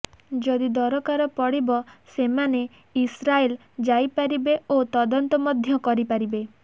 ଯଦି ଦରକାର ପଡ଼ିବ ସେମାନେ ଇସ୍ରାଏଲ ଯାଇପାରିବେ ଓ ତଦନ୍ତ ମଧ୍ୟ କରିପାରିବେ